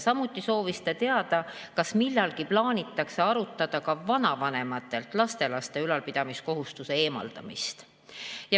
Samuti soovis ta teada, kas millalgi plaanitakse arutada, et kaotada vanavanemate kohustus lapselapsi ülal pidada.